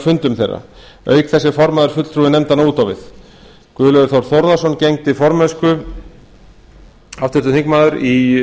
fundum þeirra auk þess er formaður fulltrúi nefndanna út á við guðlaugur þór þórðarson háttvirtur þingmaður